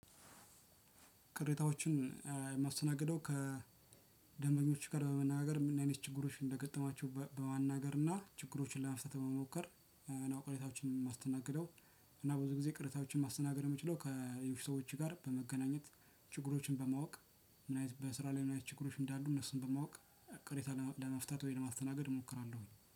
ቅሬታዎችን የማስተናግደው ከደንበኞች ጋር በመነጋገር ምን አይነት ችግሮች እንደገጠማችሁ በማናገር እና ችግሮችን ለመፍታት በመሞከር እና ቅሬታዎችን የማስተናግደው እና ብዙ ጊዜ ቅሬታዎችን ማስተናገድ የምችለው ከሌሎች ሰዎች ጋር በመገናኘት ችግሮችን በማወቅ እና በስራ ላይ ምን አይነት ችግሮች እንዳሉ እነሱን በማወቅ ቅሬታ ለመፍታት ወይም ለማስተናገድ እሞክራለሁ።